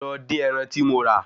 Lọ dín ẹran tí mo rà